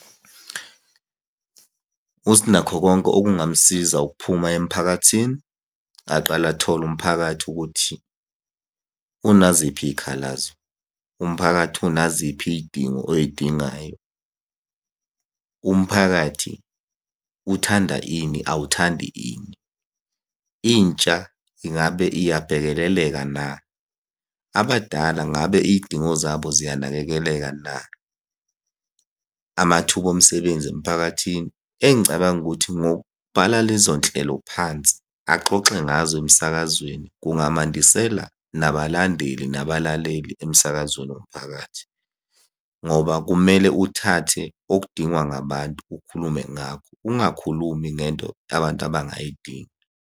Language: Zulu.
USinakhokonke okungamusiza ukuphuma emphakathini, aqale athole umphakathi ukuthi unaziphi iy'khalazo. Umphakathi unaziphi iy'dingo oy'dingayo? Umphakathi uthanda ini, awuthandi ini? Intsha ingabe iyabhekeleleka na? Abadala ngabe iy'dingo zabo ziyanakekeleka na? Amathuba omsebenzi emphakathini, engicabanga ukuthi ngokubhala lezo nhlelo phansi axoxe ngazo emsakazweni, kungamandisela nabalandeli nabalaleli emsakazweni womphakathi, ngoba kumele uthathe okudingwa ngabantu ukhulume ngakho ungakhulumi ngento abantu abangayidingi.